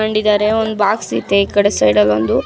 ತಗ್ಕೊಂಡಿದ್ದಾರೆ ಒಂದ ಬಾಕ್ಸ್ ಇತ್ತೆ ಈ ಕಡೆ ಸೈಡ್ ಆಗ ಒಂದು --